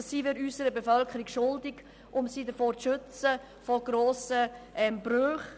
Das sind wir unserer Bevölkerung schuldig, um sie vor grossen Brüchen zu schützen.